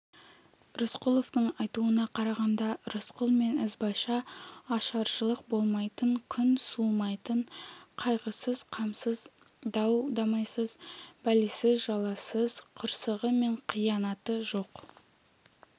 рысқұловтың айтуына қарағанда рысқұл мен ізбайша ашаршылық болмайтын күн суымайтын қайғысыз қамсыз дау-дамайсыз бәлесіз-жаласыз қырсығы мен қиянаты жоқ